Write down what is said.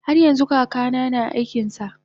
haryanxu kakana na aikinsa